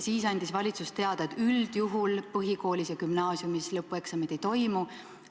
Siis andis valitsus teada, et üldjuhul põhikoolis ja gümnaasiumis lõpueksameid ei toimu.